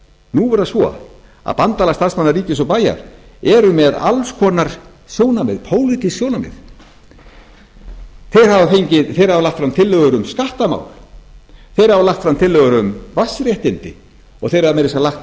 nú er það svo að bandalag starfsmanna ríkis og bæja er með alls konar sjónarmið pólitísk sjónarmið þeir hafa lagt fram tillögur um skattamál þeir hafa lagt fram tillögur um vatnsréttindi og þeir hafa meira að segja lagt